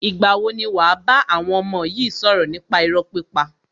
Ìgbà wo ni wàá bá àwọn ọmọ yi sọ̀rọ̀ nípa irọ́ pípa?